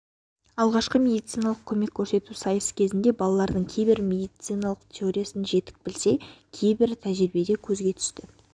алғашқы медициналық көмек көрсету сайысы кезінде балалардың кейбірі медицинаның теориясын жетік білсе кейбірі тәжірибеде көзге түсті